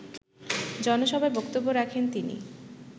জনসভায় বক্তব্য রাখেন তিনি